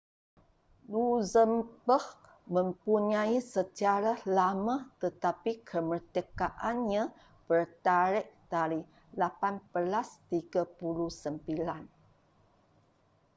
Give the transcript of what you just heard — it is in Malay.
luxembourg mempunyai sejarah lama tetapi kemerdekaannya bertarikh dari 1839